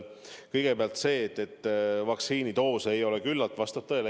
Kõigepealt: see, et vaktsiinidoose ei ole küllalt, vastab tõele.